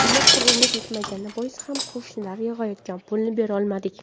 Ammo qurbimiz yetmagani bois ham qo‘shnilar yig‘ayotgan pulni berolmadik.